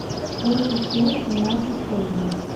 сколько стоит семнадцать тенге